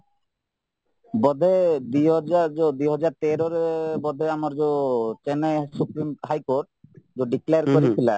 ବୋଧେ ଦୁଇହଜାର ଯୋଉ ଦୁଇହଜାରତେରରେ ବୋଧେ ଆମର ଯୋଉ Chennai supreme high କୋର୍ଟ ଯୋଉ declare କରିଥିଲା